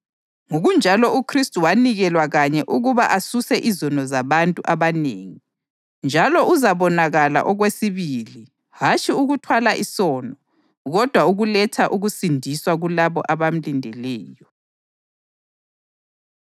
ngokunjalo uKhristu wanikelwa kanye ukuba asuse izono zabantu abanengi; njalo uzabonakala okwesibili, hatshi ukuthwala isono, kodwa ukuletha ukusindiswa kulabo abamlindeleyo.